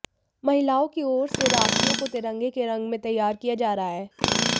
महिलाओं की ओर से राखियों को तिरंगे के रंग में तैयार किया जा रहा है